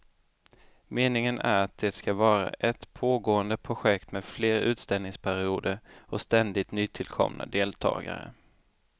Meningen är att det ska vara ett pågående projekt med fler utställningsperioder och ständigt nytillkomna deltagare.